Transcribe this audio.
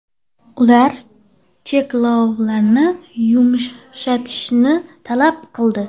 Ular cheklovlarni yumshatishni talab qildi.